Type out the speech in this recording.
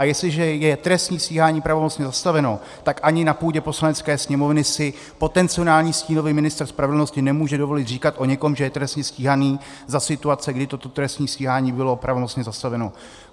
A jestliže je trestní stíhání pravomocně zastaveno, tak ani na půdě Poslanecké sněmovny si potenciální stínový ministr spravedlnosti nemůže dovolit říkat o někom, že je trestně stíhaný, za situace, kdy toto trestní stíhání bylo pravomocně zastaveno.